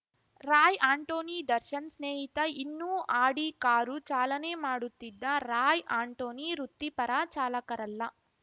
ರಾಯ್‌ ಆಂಟೋನಿ ದರ್ಶನ್‌ ಸ್ನೇಹಿತ ಇನ್ನೂ Audi car ಚಾಲನೆ ಮಾಡುತ್ತಿದ್ದ ರಾಯ್‌ ಆಂಟೋನಿ ವೃತ್ತಿಪರ ಚಾಲಕರಲ್ಲ